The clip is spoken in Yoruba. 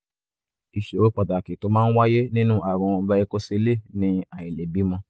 ìṣòro pàtàkì tó máa ń wáyé nínú ààrùn varicocele ni àìlèbímọ